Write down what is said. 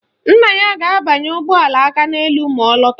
Nna ya ga-abanye ụgbọala Akaneelu ma ọ lọta